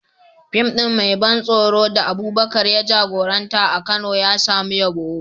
Fim ɗin mai ban tsoro da Abubakar ya jagoranta a Kano ya samu yabo.